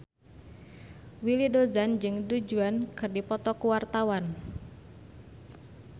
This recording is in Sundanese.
Willy Dozan jeung Du Juan keur dipoto ku wartawan